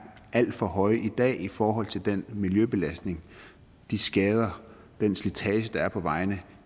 alt for høje i dag i forhold til den miljøbelastning de skader den slitage der er på vejene